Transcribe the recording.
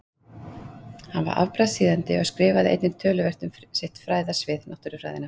Hann var afbragðs þýðandi og skrifaði einnig töluvert um sitt fræðasvið, náttúrufræðina.